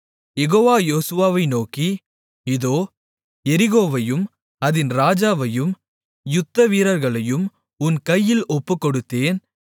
யெகோவா யோசுவாவை நோக்கி இதோ எரிகோவையும் அதின் ராஜாவையும் யுத்தவீரர்களையும் உன் கையில் ஒப்புக்கொடுத்தேன்